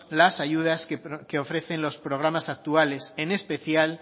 las ayudas que ofrecen los programas actuales en especial